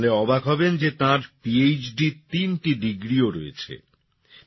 জানলে অবাক হবেন যে তাঁর PHDর তিনটি ডিগ্রিও রয়েছে